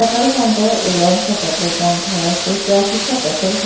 petrol pump हैं Reliance का petrol pump हैं क्यू क्या चीज का पेट्रोल पंप --